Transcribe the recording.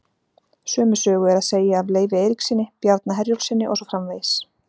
Sömu sögu er að segja af Leifi Eiríkssyni, Bjarna Herjólfssyni og svo framvegis.